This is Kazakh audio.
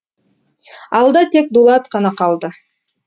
алда тек дулат қана қалды